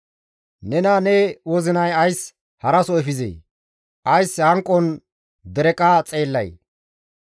Nena ne wozinay ays haraso efizee? Ays hanqon dereqa xeellay?